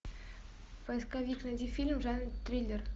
поисковик найди фильм в жанре триллер